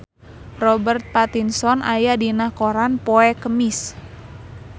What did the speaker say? Robert Pattinson aya dina koran poe Kemis